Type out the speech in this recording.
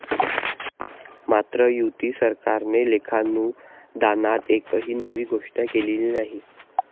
मात्र, युती सरकारने लेखानुदानात एकही नवी घोषणा केलेली नाही.